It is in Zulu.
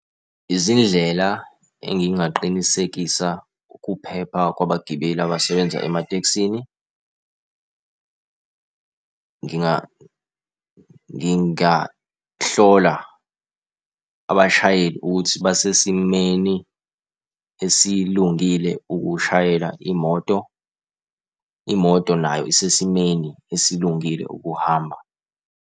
Izindlela engingaqinisekisa ukuphepha kwabagibeli abasebenza ematekisini. Ngingahlola abashayeli ukuthi basesimeni esilungile ukushayela imoto, imoto nayo isesimeni esilungile ukuhamba.